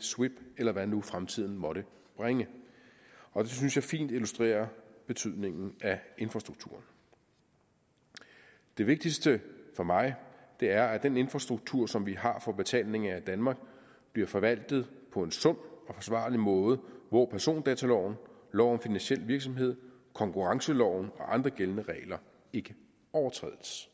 swipp eller hvad nu fremtiden måtte bringe og det synes jeg fint illustrerer betydningen af infrastrukturen det vigtigste for mig er at den infrastruktur som vi har for betaling i danmark bliver forvaltet på en sund og forsvarlig måde hvor persondataloven lov om finansiel virksomhed konkurrenceloven og andre gældende regler ikke overtrædes